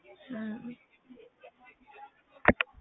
ਹਮ